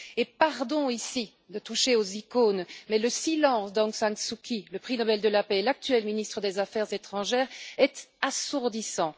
Et pardon de toucher ici aux icônes, mais le silence d'Aung San Suu Kyi, le prix Nobel de la paix et l'actuel ministre des affaires étrangères, est assourdissant!